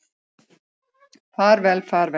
Far vel, far vel.